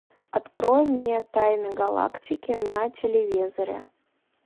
открой мне тайны галактики на телевизоре